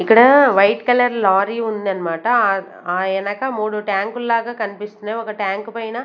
ఇక్కడ white colour lorry ఉందన్నమాట అ ఆ ఎనక మూడు ట్యాంకుల్లాగా కనిపిస్తున్నాయి ఒక ట్యాంకు పైన--